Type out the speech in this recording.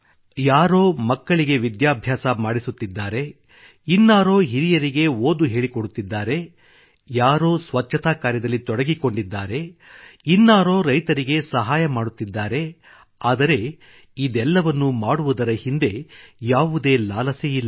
ಯಾರೋ ಮಕ್ಕಳಿಗೆ ವಿದ್ಯಭ್ಯಾಸ ಮಾಡಿಸುತ್ತಿದ್ದಾರೆ ಇನ್ನಾರೋ ಹಿರಿಯರಿಗೆ ಓದು ಹೇಳಿಕೊಡುತ್ತಿದ್ದಾರೆ ಯಾರೋ ಸ್ವಚ್ಛತಾ ಕಾರ್ಯದಲ್ಲಿ ತೊಡಗಿಕೊಂಡಿದ್ದಾರೆ ಇನ್ನಾರೋ ರೈತರಿಗೆ ಸಹಾಯ ಮಾಡುತ್ತಿದ್ದಾರೆ ಆದರೆ ಇದೆಲ್ಲವನ್ನೂ ಮಾಡುವುದರ ಹಿಂದೆ ಯಾವುದೇ ಲಾಲಸೆಯಿಲ್ಲ